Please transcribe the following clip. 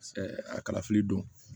a kalafili don